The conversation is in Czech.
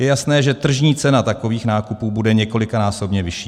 Je jasné, že tržní cena takových nákupů bude několikanásobně vyšší.